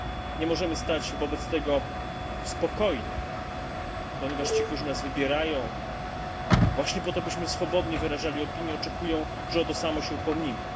Nie możemy spokojnie stać obok tego, ponieważ ci, którzy nas wybierają właśnie po to, byśmy swobodnie wyrażali opinie, oczekują, że o to samo się upomnimy.